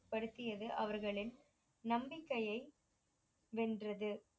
படுத்தியவை அவர்களின் நம்பிக்கையை வென்றது